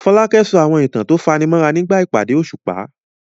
Folake sọ àwọn ìtàn tó fani mọ́ra nígbà ìpàdé òṣùpá.